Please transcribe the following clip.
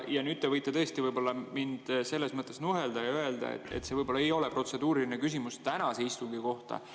Nüüd te võite tõesti mind selles mõttes nuhelda ja öelda, et see ei ole protseduuriline küsimus tänase istungi kohta.